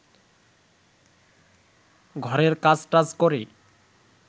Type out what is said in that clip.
ঘরের কাজটাজ করে